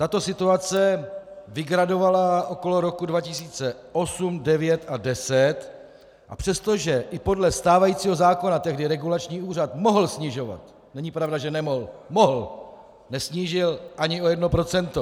Tato situace vygradovala okolo roku 2008, 2009 a 2010, a přestože i podle stávajícího zákona tehdy regulační úřad mohl snižovat - není pravda, že nemohl, mohl! - nesnížil ani o jedno procento.